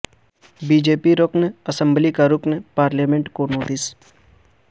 be J P رکن اسمبلی کا رکن پارلیمنٹ کو نوٹس